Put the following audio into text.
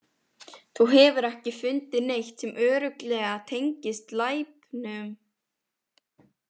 Þú hefur ekki fundið neitt sem örugglega tengist glæpnum?